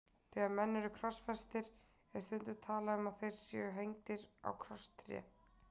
Þegar menn eru krossfestir er stundum talað um að þeir séu hengdir á krosstré.